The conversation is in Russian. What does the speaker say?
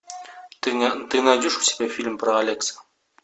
ты найдешь у себя фильм про алекса